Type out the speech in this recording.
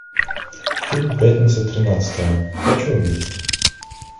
фильм пятница тринадцатое хочу увидеть